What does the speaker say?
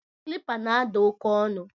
Kịlịpa na-ada oke ọnụ